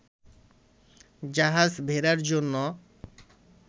জাহাজ ভেড়াবার জন্য